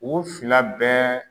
U fila bɛɛ